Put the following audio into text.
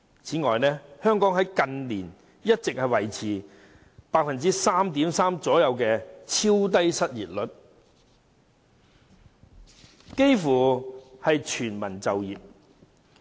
此外，香港近年一直維持約 3.3% 的超低失業率，幾乎全民就業。